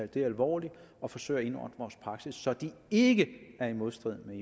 det alvorligt og forsøge at indordne vores praksis så den ikke er i modstrid med